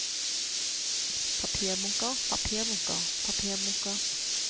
papirbunker papirbunker papirbunker